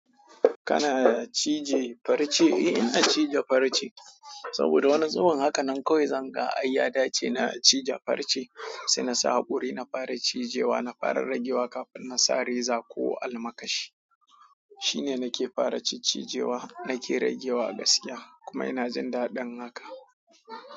Kana cije farce? Ae ina cije farce. Saboda wani zubin haka nan kawai zanga ae ya dace na cije farce sai nasa haƙori na fara cijewa na fara ragewa kafin nasa reza ko almakashi. Shine nake fara cicijewa nake ragewa gaskiya kuma ina jin dadin hakan.